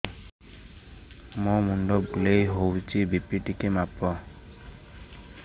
ମୋ ମୁଣ୍ଡ ବୁଲେଇ ହଉଚି ବି.ପି ଟିକେ ମାପ